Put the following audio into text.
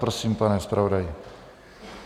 Prosím, pane zpravodaji.